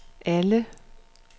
alle